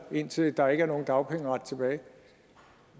indtil der ikke er nogen dagpengeret tilbage